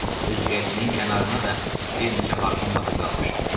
Üzgəcinin kənarına da bir neçə harpun batıb qalmışdı.